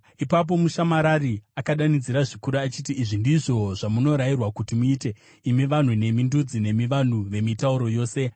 Ipapo mushamarari akadanidzira zvikuru achiti, “Izvi ndizvo zvamunorayirwa kuti muite, imi vanhu, nemi ndudzi nemi vanhu vemitauro yose: